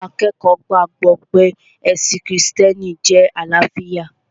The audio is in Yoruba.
Àwọn akẹ́kọ̀ọ́ gbàgbọ̀ pé ẹ̀sìn krìstẹ́nì jẹ́ àlàáfíà